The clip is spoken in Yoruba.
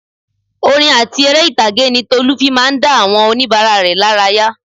Orin àti èrè ìtàgé ni Tolu fi máa ń dá àwọn onibara rẹ lára yà